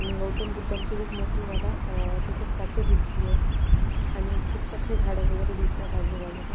आणि गौतम बुद्धांची खूप मोठी मला अ तीथ स्टाचू दिसतीये आणि खूप झाड वैगरे दिसतायेत आजू बाजूला.